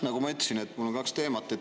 Nagu ma ütlesin, mul on kaks teemat.